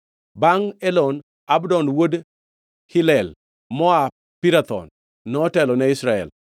Bangʼ Elon, Abdon wuod Hillel, moa Pirathon, notelo ne Israel.